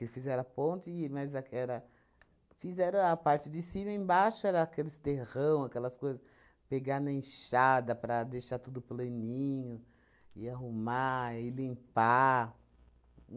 E fizeram a ponte, mas é que era, fizeram a parte de cima e embaixo era aqueles terrão, aquelas coisas, pegar na enxada para deixar tudo planinho, e arrumar, e limpar.